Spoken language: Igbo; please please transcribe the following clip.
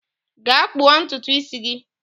Gaa kpuo ntutu isi gi!